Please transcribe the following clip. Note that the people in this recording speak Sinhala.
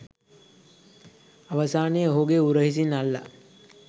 අවසානයේ ඔහුගේ උරහිසින් අල්ලා